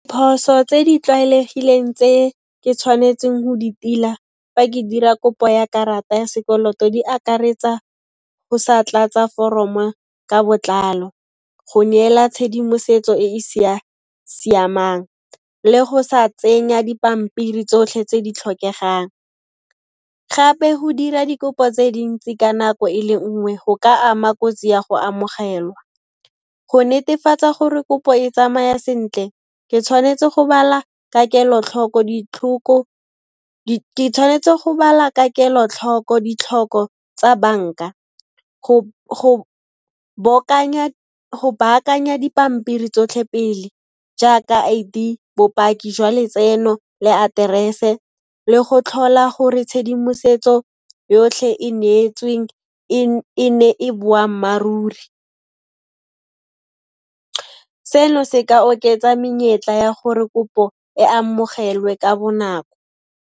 Phoso tse di tlwaelegileng tse ke tshwanetseng ho di tila fa ke dira kopo ya karata ya sekoloto, di akaretsa o sa tlatsa foromo ka botlalo, go neela tshedimosetso e e sa siamang le go sa tsenya dipampiri tsotlhe tse di tlhokegang. Gape go dira dikopo tse dintsi ka nako e le nngwe go ka ama kotsi ya go amogelwa. Go netefatsa gore kopo e tsamaya sentle, ke tshwanetse go bala ka kelo-tlhoko ditlhoko tsa banka, go baakanya dipampiri tsotlhe pele jaaka I_D, bopaki jwa letseno le aterese le go tlhola gore tshedimosetso yotlhe e neetsweng, e ne e boammaaruri. Seno se ka oketsa menyetla ya gore kopo e amogelwe ka bonako.